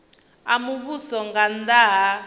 a muvhuso nga nnda ha